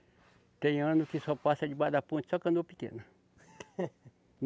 Tem ano que só passa debaixo da ponte, só canoa pequena.